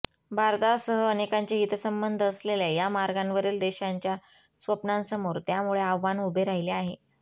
भारतासह अनेकांचे हितसंबंध असलेल्या या मार्गांवरील देशांच्या स्वप्नांसमोर त्यामुळे आव्हान उभे राहिले आहे